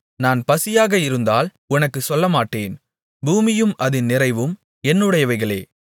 நான் பசியாக இருந்தால் உனக்குச் சொல்லமாட்டேன் பூமியும் அதின் நிறைவும் என்னுடையவைகளே